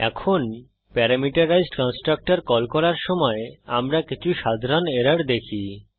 এখন parameterised constructor call করার সময় আমরা কিছু সাধারণ এরর দেখি